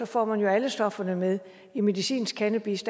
får man jo alle stofferne med medicinsk cannabis